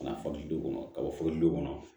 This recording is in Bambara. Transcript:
Ka na fɔli du kɔnɔ ka bɔ foli dama